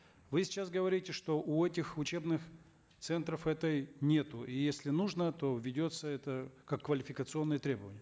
вы сейчас говорите что у этих учебных центров этой нету если нужно то введется это как квалификационное требование